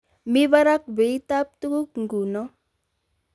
Mi barak beitab tuguk nguno